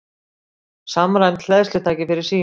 Samræmd hleðslutæki fyrir síma